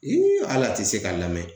hal'a tɛ se ka lamɛn